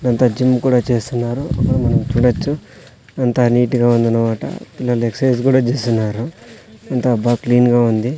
దాంతో జీమ్ కూడా చేస్తున్నారు మనం చూడచ్చు అంతా నీట్ గా ఉందనమాట పిల్లలు ఎక్ససైజు కూడా చేస్తున్నారు అంతా బా క్లీన్ గా ఉంది.